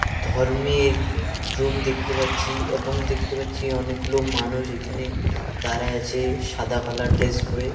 ধর্মের রুম দেখতে পাচ্ছি এবং দেখতে পাচ্ছি অনেকগুলো মানুষ এখানে দাঁড়ায় আছে সাদা কালার ড্রেস পড়ে.